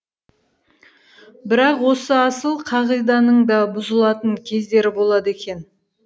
бірақ осы асыл қағиданың да бұзылатын кездері болады екен